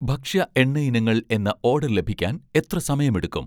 ഭക്ഷ്യ എണ്ണ ഇനങ്ങൾ എന്ന ഓഡർ ലഭിക്കാൻ എത്ര സമയമെടുക്കും?